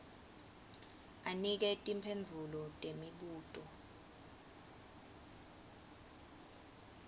anike timphendvulo temibuto